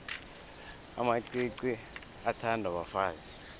amacici athandwa bafazi